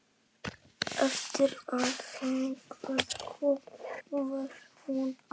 Eftir að þangað kom varð hún aftur ófrísk.